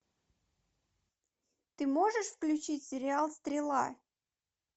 ты можешь включить сериал стрела